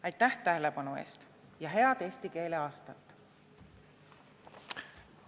" Aitäh tähelepanu eest ja head eesti keele aastat!